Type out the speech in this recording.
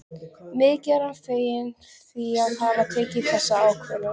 Mikið er hann feginn því að hafa tekið þessa ákvörðun.